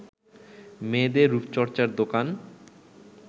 মেয়েদের রূপচর্চার দোকান